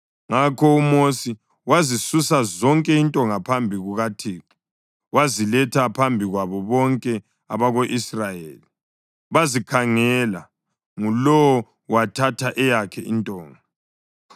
Ngakho uMosi wazisusa zonke intonga phambi kukaThixo waziletha phambi kwabo bonke abako-Israyeli. Bazikhangela, ngulowo wathatha eyakhe intonga.